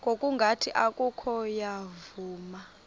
ngokungathi oko wavuma